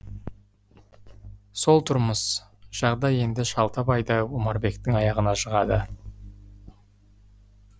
сол тұрмыс жағдай енді шалтабайды омарбектің аяғына жығады